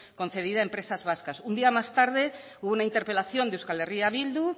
concedida a empresas vascas un día más tarde hubo una interpelación de euskal herria bildu